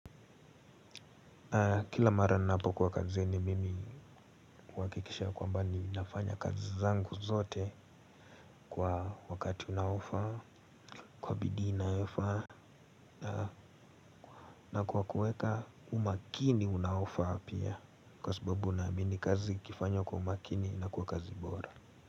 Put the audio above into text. Kila mara ninapokuwa kazini mimi huhakikisha kwamba ni nafanya kazi zangu zote kwa wakati unaofaa, kwa bidii inayofaa. Na kwa kuweka umakini unaofaa pia kwa sababu naamini kazi ikifanywa kwa umakini inakuwa kazi bora.